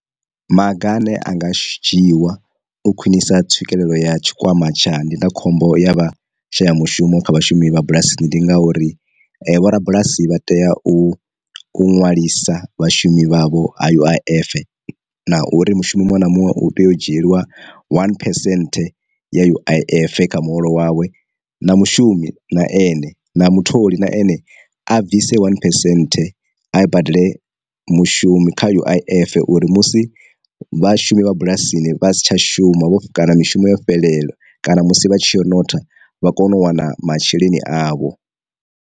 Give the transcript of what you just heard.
Maga ane anga shi dzhiwa u khwinisa tswikelelo ya tshikwama tsha ndindakhombo ya vha shaya mushumo kha vhashumi vha bulasini ndi nga uri, vho ra bulasi vha tea u u nwalisa vhashumi vhavho ha U_I_F, na uri mushumo muṅwe na muṅwe u tea u dzhieliwa one phesenthe ya U_I_F kha muholo wawe, na mushumi na ane na mutholi na ene a bvisa one phesenthe a badele mushumi kha U_I_F uri musi vhashumi vha bulasini vha si tsha shumavho kana mishumo yo fhelela kana musi vha tshi notha vha kone u wana masheleni avho.